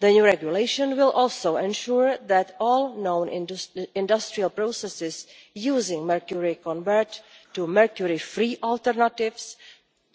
The new regulation will also ensure that all known industrial processes using mercury convert to mercury free alternatives